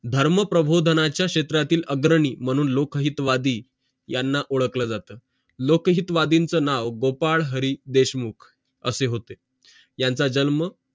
धर्म प्रभोधनाचा क्षेत्रातील अग्रणी मानून लोकहितवादी याना ओडखल जाते लोकहितवादींचं नाव गोपाळ हरी देशमुख असे होते यांचं जन्म